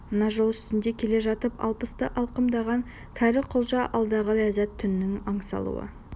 мына жол үстінде келе жатып алпысты алқымдаған кәрі құлжа алдағы ләззат түнін аңсаулы